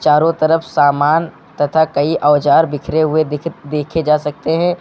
चारों तरफ सामान तथा कई औजार बिखरे हुए दिख देखे जा सकते हैं।